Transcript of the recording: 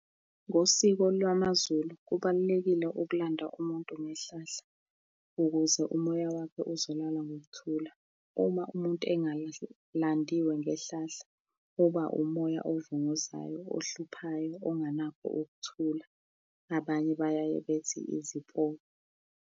Ngosiko lwamaZulu, kubalulekile ukulanda umuntu ngehlahla, ukuze umoya wakhe uzolala ngokuthula. Uma umuntu ngehlahla, uba umoya ovunguzayo, ohluphayo, onganakho nokuthula. Abanye bayaye bethi izipoki.